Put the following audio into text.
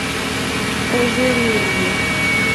ожерелью